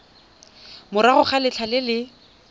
morago ga letlha le le